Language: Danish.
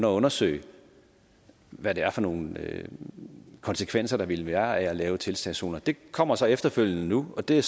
at undersøge hvad det er for nogle konsekvenser der ville være af at lave tiltagszoner det kommer så efterfølgende nu og det